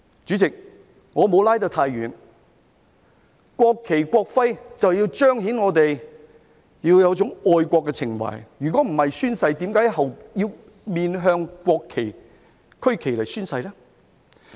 主席，我沒有拉得太遠，國旗、國徽就是要彰顯我們要有一種愛國情懷，否則宣誓時，我們為何要面向國旗、區旗來宣誓呢？